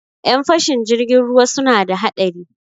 Ƴan fashin jirgin ruwa suna da haɗari.